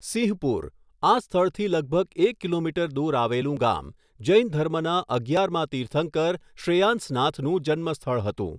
સિંહપુર, આ સ્થળથી લગભગ એક કિલોમીટર દૂર આવેલું ગામ, જૈન ધર્મના અગિયારમાં તીર્થંકર, શ્રેયાંસનાથનું જન્મસ્થળ હતું.